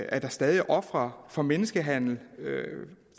at der stadig er ofre for menneskehandel